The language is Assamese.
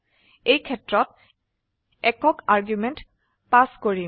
এইবাৰ একক আৰ্গুমেন্ট পাস কৰিম